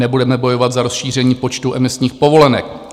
Nebudeme bojovat za rozšíření počtu emisních povolenek.